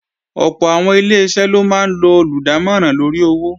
Ọ̀pọ̀ àwọn Ileṣẹ́ ló máa ń lo olùdámọ̀ràn lóri owó